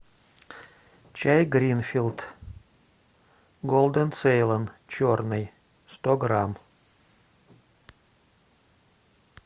чай гринфилд голден цейлон черный сто грамм